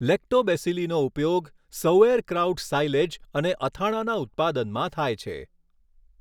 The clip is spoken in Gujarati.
લેક્ટોબેસિલીનો ઉપયોગ સૌઍરક્રાઉટ સાઇલેજ અને અથાણાંના ઉત્પાદનમાં થાય છે.